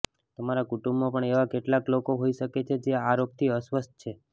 તમારા કુટુંબમાં પણ એવા કેટલાક લોકો હોઈ શકે છે જે આ રોગથી અસ્વસ્થ છે